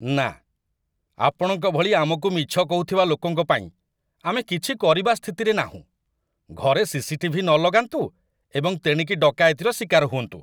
ନା! ଆପଣଙ୍କ ଭଳି ଆମକୁ ମିଛ କହୁଥିବା ଲୋକଙ୍କ ପାଇଁ ଆମେ କିଛି କରିବା ସ୍ଥିତିରେ ନାହୁଁ, ଘରେ ସିସିଟିଭି ନ ଲଗାନ୍ତୁ ଏବଂ ତେଣିକି ଡକାୟତିର ଶିକାର ହୁଅନ୍ତୁ।